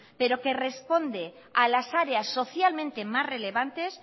pero que responde a las áreas socialmente más relevantes